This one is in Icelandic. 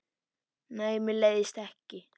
Nei, mér leiðist ekki.